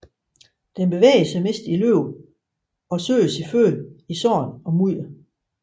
Den bevæger sig mest i løb og søger sin føde i sand og mudder